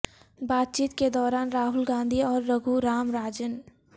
بات چیت کے دوران راہل گاندھی اور رگھو رام راجن